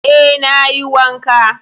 Eh, na yi wanka.